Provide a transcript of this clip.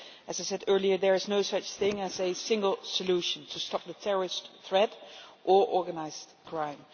As I said earlier there is no such thing as a single solution to stop the terrorist threat or organised crime.